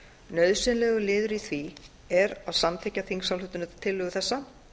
nauðsynlegur liður í því er að samþykkja þingsályktunartillögu þessa